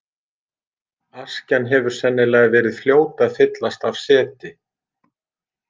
Askjan hefur sennilega verið fljót að fyllast af seti.